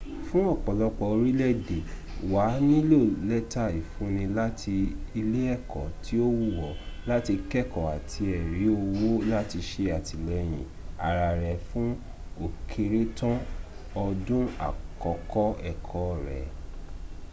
fún ọ̀pọ̀lọpọ̀ orílẹ̀èdè wà á nílò lẹ́tà ìfúnni láti ilé ẹ̀kọ́ tí ó wù ọ́ láti kẹ́ẹ̀kọ́ àti ẹ̀rí owó láti se àtìlẹyìn ara rẹ fú ókéré tán ọdún àkọ́kọ̀ ẹ̀kọ́ rẹ